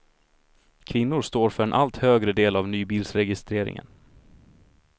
Kvinnor står för en allt högre del av nybilsregistreringen.